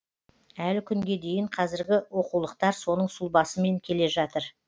әлі күнге дейін қазіргі оқулықтар соның сұлбасымен келе жатыр